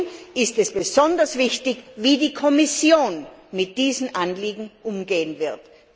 Deswegen ist es besonders wichtig, wie die Kommission mit diesem Anliegen umgehen wird.